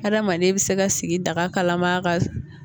Hadamaden bɛ se ka sigi daga kalama ka